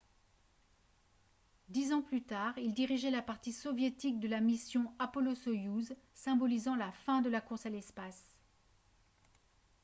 dix ans plus tard il dirigeait la partie soviétique de la mission apollo-soyouz symbolisant la fin de la course à l'espace